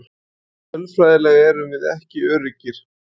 Nei tölfræðilega erum við ekki öruggir.